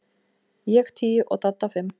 Ég tíu og Dadda fimm.